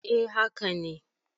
A haka ne